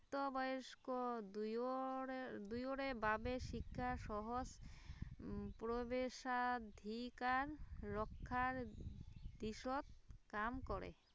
প্ৰাপ্তবয়স্কৰ দুয়োৰে দুয়োৰে বাবে শিক্ষাক সহজ প্ৰৱেশাধিকাৰ ৰখাৰ দিশত কাম কৰে